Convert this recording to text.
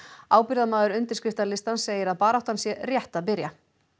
ábyrgðarmaður undirskriftalistans segir að baráttan sé rétt að byrja